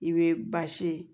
I bɛ basi ye